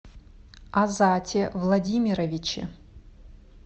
азате владимировиче